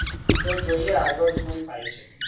તો જોઈએ આગળ સુ થાય છે.